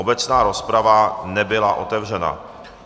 Obecná rozprava nebyla otevřena.